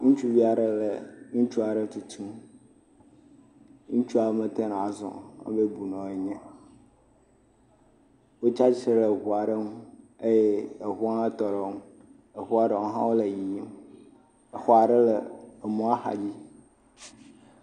Ŋutsuvi aɖe le ŋutsu aɖe tutum, ŋutsua mete ŋu ne wòazɔ ebe bunɔ yenye, wotsi atsitre ɖe eŋu aɖe ŋu eye eŋua hã tɔ ɖe wo ŋu, eŋua ɖewo hã wole yiyim exɔ aɖewo le emɔa ƒe axa dzi.